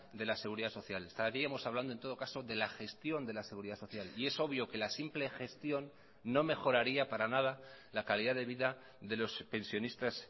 de la seguridad social estaríamos hablando en todo caso de la gestión de la seguridad social y es obvio que la simple gestión no mejoraría para nada la calidad de vida de los pensionistas